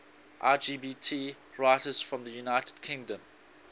lgbt writers from the united kingdom